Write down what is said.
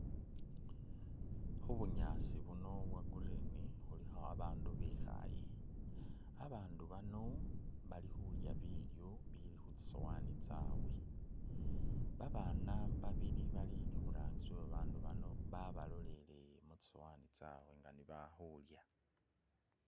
Khu bunyaasi buno bwo green khulikho abandu bikhaye ,abandu bano bali khulya bilyo bili khu tsisowani tsyabwe ,babaana babili bali iburangisi we babandu bano babalolele mu tsisowani tsabwe nga nebali khulya